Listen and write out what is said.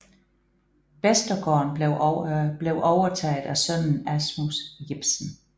Vestergården blev overtaget af sønnen Asmus Jepsen